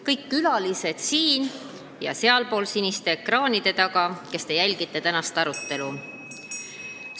Kõik külalised siin ja inimesed siniste ekraanide taga, kes te tänast arutelu jälgite.